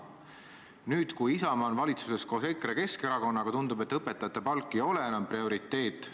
Nüüd, kui Isamaa on valitsuses koos EKRE ja Keskerakonnaga, tundub, et õpetajate palk ei ole enam prioriteet.